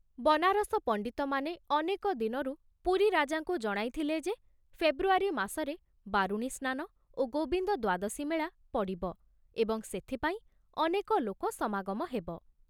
ବନାରସ ପଣ୍ଡିତମାନେ ଅନେକ ଦିନରୁ ପୁରୀ ରାଜାଙ୍କୁ ଜଣାଇଥିଲେ ଯେ ଫେବ୍ରୁଆରୀ ମାସରେ ବାରୁଣୀ ସ୍ନାନ ଓ ଗୋବିନ୍ଦ ଦ୍ବାଦଶୀ ମେଳା ପଡ଼ିବ ଏବଂ ସେଥିପାଇଁ ଅନେକ ଲୋକ ସମାଗମ ହେବ।